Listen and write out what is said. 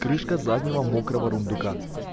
крышка заднего мокрого рундука